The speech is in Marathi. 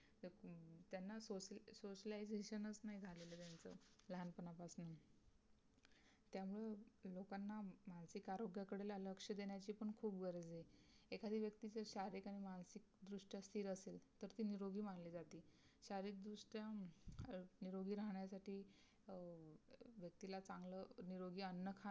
मानसिक आरोग्याकडे ना लक्ष देण्याची पण खूप गरज आहे एखादी व्यक्ती जर शारीरिक आणि मानसिक दृष्ट्या स्थिर असेल तर तो निरोगी मानले जाते शारीरिक दृष्ट्या निरोगी राहण्यासाठी अह व्यक्तीला चांगलं निरोगी अन्न खा